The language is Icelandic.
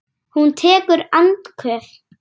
Ekki verðum við bara fjögur?